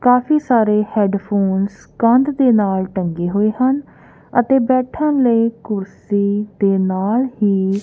ਕਾਫੀ ਸਾਰੇ ਹੈਡਫੋਨਸ ਕੰਧ ਦੇ ਨਾਲ ਟੰਗੇ ਹੋਏ ਹਨ ਅਤੇ ਬੈਠਣ ਲਈ ਕੁਰਸੀ ਤੇ ਨਾਲ ਹੀ --